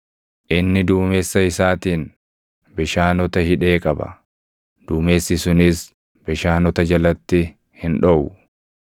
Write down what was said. Inni duumessa isaatiin bishaanota hidhee qaba; duumessi sunis bishaanota jalatti hin dhoʼu.